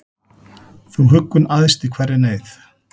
Þú huggun æðst í hverri neyð,